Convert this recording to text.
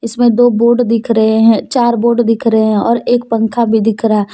इसमें दो बोर्ड दिख रहे है चार बोर्ड दिख रहे है और एक पंखा भी दिख रहा--